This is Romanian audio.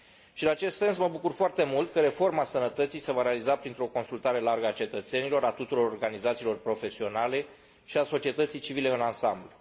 Și, în acest sens, mă bucur foarte mult că reforma sănătății se va realiza printr o consultare largă a cetățenilor, a tuturor organizațiilor profesionale și a societății civile în ansamblu.